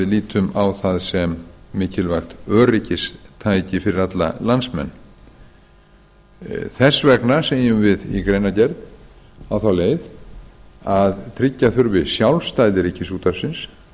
lítum á það sem mikilvægt öryggistæki fyrir alla landsmenn þess vegna segjum við í greinargerð á þá leið að tryggja þurfi sjálfstæði ríkisútvarpsins